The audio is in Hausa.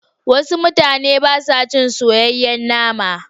Wasu mutanen ba sa ci soyayyen nama.